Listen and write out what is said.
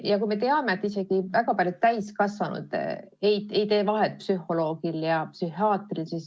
Samas me teame, et isegi väga paljud täiskasvanud ei tee vahet psühholoogil ja psühhiaatril.